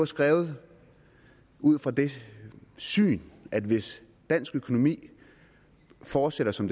skrevet ud fra det syn at hvis dansk økonomi fortsætter som